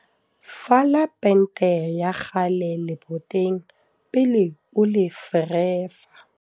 fala pente ya kgale leboteng pele o le ferefa